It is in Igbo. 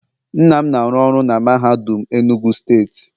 Nna m na-aru oru na mahadum enugu state